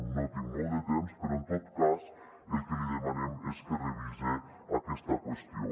no tinc molt de temps però en tot cas el que li demanem és que revise aquesta qüestió